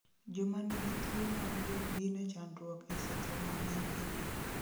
Joma nigi tuwo mar buok gin e chandruok e seche ma gin e pi